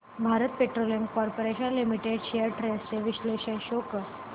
Bharat Petroleum Corporation Limited shares trends चे विश्लेषण show कर